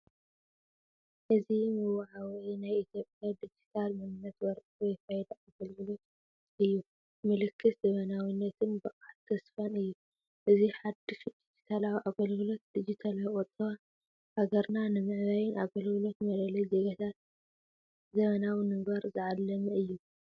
እዚ መወዓውዒ ናይ ኢትዮጵያ ዲጂታል መንነት ወረቐት ወይ "ፋይዳ" ኣገልግሎት እዩ። ምልክት ዘመናዊነትን ብቕዓትን ተስፋን እዩ። እዚ ሓድሽ ዲጂታላዊ ኣገልግሎት ዲጂታላዊ ቁጠባ ሃገርና ንምዕባይን ኣገልግሎት መለለዪ ዜጋታት ዘመናዊ ንምግባርን ዝዓለመ እዩ።